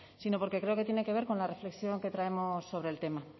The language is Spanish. sino porque creo que tiene que ver con la reflexión que traemos sobre el tema